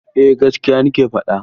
Eh gaskiya nake faɗa.